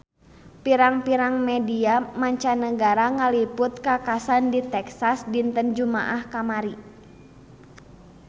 Pirang-pirang media mancanagara ngaliput kakhasan di Texas dinten Jumaah kamari